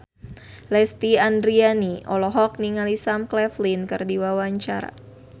Lesti Andryani olohok ningali Sam Claflin keur diwawancara